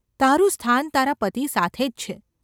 તારું સ્થાન તારા પતિ સાથે જ છે.